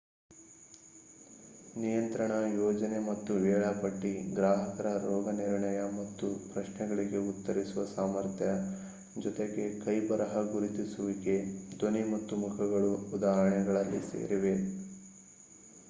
ನಿಯಂತ್ರಣ ಯೋಜನೆ ಮತ್ತು ವೇಳಾಪಟ್ಟಿ ಗ್ರಾಹಕರ ರೋಗನಿರ್ಣಯ ಮತ್ತು ಪ್ರಶ್ನೆಗಳಿಗೆ ಉತ್ತರಿಸುವ ಸಾಮರ್ಥ್ಯ ಜೊತೆಗೆ ಕೈಬರಹ ಗುರುತಿಸುವಿಕೆ ಧ್ವನಿ ಮತ್ತು ಮುಖಗಳು ಉದಾಹರಣೆಗಳಲ್ಲಿ ಸೇರಿವೆ